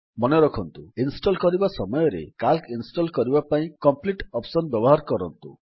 ମନେରଖନ୍ତୁ ଇନଷ୍ଟଲ୍ କରିବା ସମୟରେ ସିଏଏଲସି ଇନଷ୍ଟଲ୍ କରିବା ପାଇଁ କମ୍ପ୍ଲିଟ୍ ଅପ୍ସନ୍ ବ୍ୟବହାର କରନ୍ତୁ